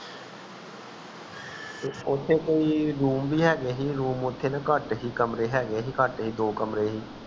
ਓਥੇ ਕੋਈ room ਵੀ ਹੈਗੇ ਸੀ room ਨਾ ਕਾਟ ਸੀ ਕਮਰੇ ਹੈਗੇ ਸੀ ਕਾਟ ਸੀ